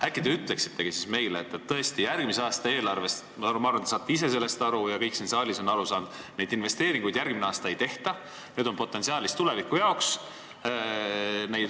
Äkki te ütletegi meile – ma arvan, et te saate ise sellest aru ja kõik siin saalis on aru saanud –, et neid investeeringuid järgmine aasta ei tehta, need on potentsiaal tuleviku jaoks.